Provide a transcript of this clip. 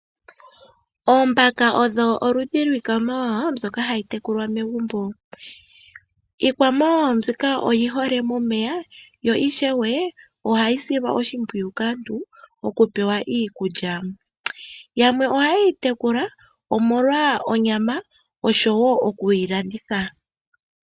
Oombaka odho oludhi lwiikwamawawa mbyoka hayi tekulwa megumbo. Iikwamawawa mbika oyi hole momeya, yo ishewe ohayi silwa oshimpwiyu kaantu okupewa iikulya. Yamwe oha yeyi tekula omolwa onyama, oshowo okuyi landitha.